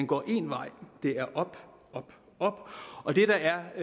går én vej og det er op op op og det der er